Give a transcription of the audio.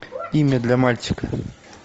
имя для мальчика